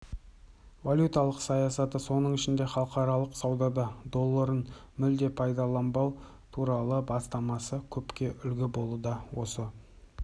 валюталық саясаты соның ішінде халықаралық саудада долларын мүлде пайдаланбау туралы бастамасы көпке үлгі болуда осы